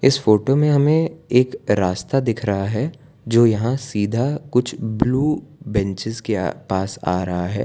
इस फोटो में हमे एक रास्ता दिख रहा है जो यहां सीधा कुछ ब्ल्यू बेंचेज के अह पास आ रहा है।